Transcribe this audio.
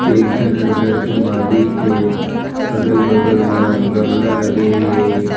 एक झन हर घर के मालिक ए अगल-बगल म गमला लगे हे।